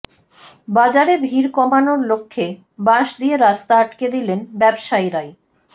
বাজারে ভিড় কমানোর লক্ষ্যে বাঁশ দিয়ে রাস্তা আটকে দিলেন ব্যবসায়ীরাই